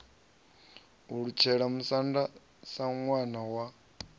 alutshela musanda sa ṋwana wa